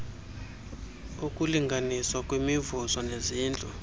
okulinganiswa kwemivuzo nezintlu